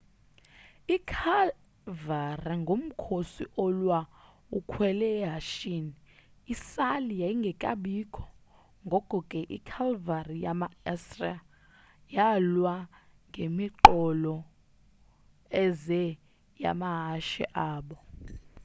ikhalvari ngumkhosi olwa ukhwele ehashini, isali yayingekabikho ngoko ke ikhalvari yama assria yalwa ngemiqolo eze yamahashe abo